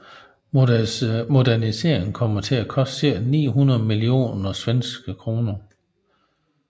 Moderniseringen kommer til at koste cirka 900 millioner SEK